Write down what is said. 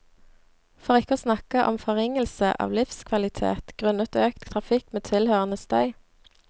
For ikke å snakke om forringelse av livskvalitet grunnet økt trafikk med tilhørende støy.